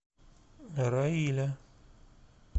раиля